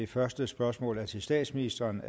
første spørgsmål er til statsministeren